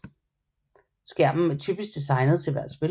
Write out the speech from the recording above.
Skærmen er typisk designet til hvert spil